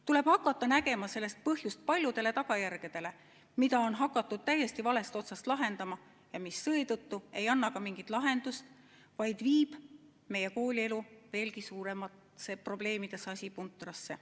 Tuleb hakata nägema selles põhjust paljudele tagajärgedele, mida on hakatud täiesti valest otsast lahendama ja mis seetõttu ei anna mingit lahendust, vaid viivad meie koolielu veelgi suuremasse probleemide sasipuntrasse.